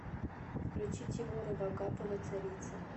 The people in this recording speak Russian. включи тимура вагапова царица